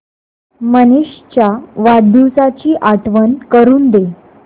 मनीष च्या वाढदिवसाची आठवण करून दे